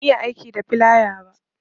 Ban iya aiki da filaya ba